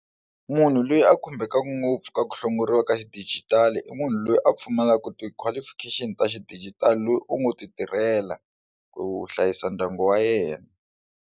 Munhu loyi a khumbekaku ngopfu ka ku hlongoriwa ka xidijitali i munhu loyi a pfumalaka ti qualification ta xidijitali loyi u ngo ti tirhela ku hlayisa ndyangu wa yena.